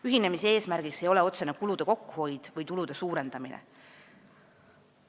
Ühinemise eesmärk ei ole otsene kulude kokkuhoid või tulude suurendamine.